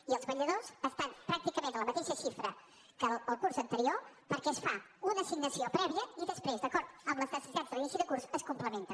i els vetlladors estan pràcticament a la mateixa xifra que el curs anterior perquè es fa una assignació prèvia i després d’acord amb les necessitats de l’inici de curs es complementa